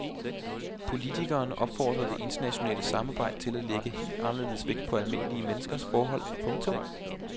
Politikeren opfordrede det internationale samarbejde til at lægge helt anderledes vægt på almindelige menneskers forhold. punktum